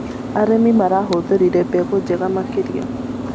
Arĩmi marahũthĩrire mbegũ njega makĩria.